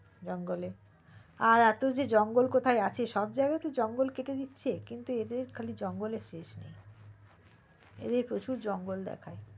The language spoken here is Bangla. জঙ্গলে আর এতো যে জঙ্গল কোথায় আছে সব জাগাই তো জঙ্গল কেটে দিচ্ছে কিন্তু এদের শুধু জঙ্গলে face এরা প্রচুর জঙ্গল দেখায়